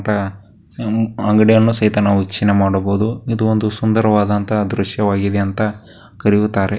ಇತ್ತ ಅಂಗಡಿಯನ್ನು ಸಹಿತ ನಾವಿಲ್ಲಿ ವಿಕ್ಷಣೆ ಮಾಡಬಹುದು ಇದೊಂದು ಸುಂದರವಾದಂತಹ ದೃಶ್ಯವಾಗಿದೆ ಅಂತ ಕರೆಯುತ್ತಾರೆ .